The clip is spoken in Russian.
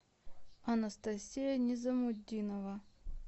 анастасия низамутдинова